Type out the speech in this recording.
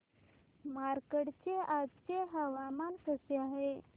मार्कंडा चे आजचे हवामान कसे आहे